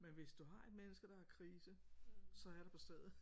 Men hvis du har et menneske der har krise så er jeg der der på stedet